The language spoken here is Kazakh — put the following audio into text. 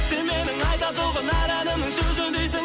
сен менің айта тұғын әр әнімнің сөзіндесің